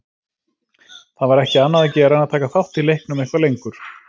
Það var ekki annað að gera en að taka þátt í leiknum eitthvað lengur.